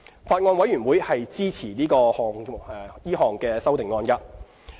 法案委員會支持該項修正案。